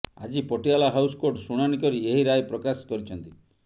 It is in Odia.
ଆଜି ପଟିଆଲା ହାଉସ କୋର୍ଟ ଶୁଣାଣି କରି ଏହି ରାୟ ପ୍ରକାଶ କରିଛନ୍ତି